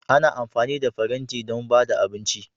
Ana amfani da faranti don ba da abinci